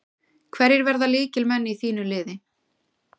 Hverjir verða lykilmenn í þínu liði?